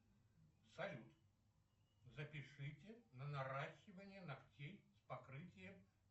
салют запишите на наращивание ногтей с покрытием